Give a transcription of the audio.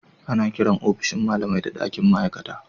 Ana kiran ofishin malamai da dakin ma'aikata.